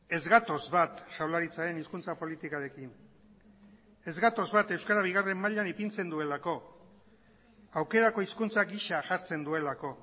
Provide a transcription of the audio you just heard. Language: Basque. ez gatoz bat jaurlaritzaren hizkuntza politikarekin ez gatoz bat euskara bigarren mailan ipintzen duelako aukerako hizkuntza gisa jartzen duelako